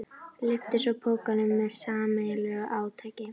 Lyftu svo pokanum með sameiginlegu átaki.